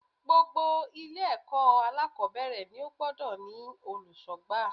Gbogbo Ilé èkó alákòbéèrè ni ó gbodò ní olùsógbà